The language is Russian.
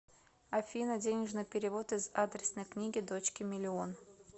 афина денежный перевод из адресной книги дочке миллион